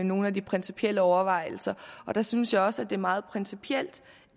nogle af de principielle overvejelser jeg synes også det meget principielt